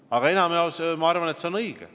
Aga enamjaolt, arvan ma, see on õige.